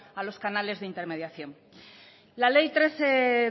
a los canales de intermediación la ley trece